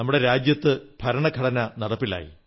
ഒരിക്കൽ കൂടി ഞാൻ ആ മഹാത്മാവിന് ആദരകുസുമങ്ങളർപ്പിക്കുന്നു